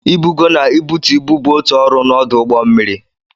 Ibugo na ibutu ibu bụ otu ọrụ na ọdụ ụgbọ mmiri.